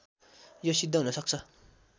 यो सिद्ध हुनसक्छ